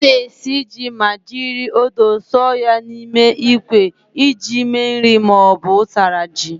Ana esi ji ma jiri odo sọọ ya n'ime ikwe iji me nri ma ọ bu ụtara ji.